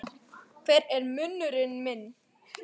Hver er munurinn núna?